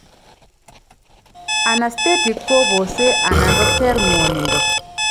Anaesthetic kobosee ala koter ng'wonindo